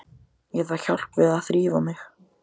Ég þarf hjálp við að þrífa mig.